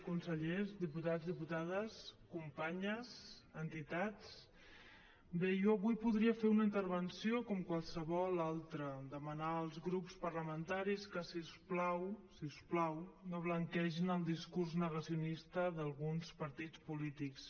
consellers diputats diputades companyes entitats bé jo avui podria fer una intervenció com qualsevol altra demanar als grups parlamentaris que si us plau si us plau no blanquegin el discurs negacionista d’alguns partits polítics